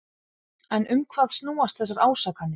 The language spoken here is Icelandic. En um hvað snúast þessar ásakanir?